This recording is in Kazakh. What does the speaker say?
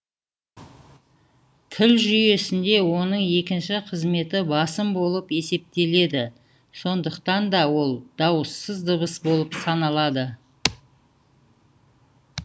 тіл жүйесінде оның екінші қызметі басым болып есептеледі сондықтан да ол дауыссыз дыбыс болып саналады